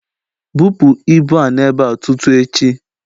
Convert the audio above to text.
Bupu ibu a n'ebe a tutu echi!